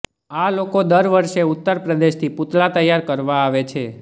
આ લોકો દર વર્ષે ઉત્તર પ્રદેશથી પૂતળા તૈયાર કરવા આવે છે